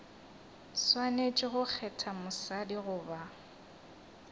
swanetše go kgetha mosadi goba